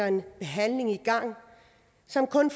en behandling i gang som kun